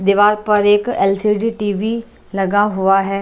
दीवार पर एक एलसीडी टीवी लगा हुआ --